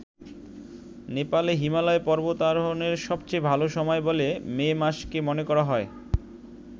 নেপালে হিমালয় পর্বতারোহনের সবচেয়ে ভাল সময় বলে মে মাসকে মনে করা হয়।